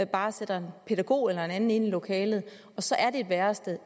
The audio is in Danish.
bare sætter en pædagog eller en anden ind i lokalet og så er det et værested